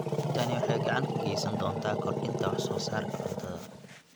Tani waxay gacan ka geysan doontaa kordhinta wax soo saarka cuntada.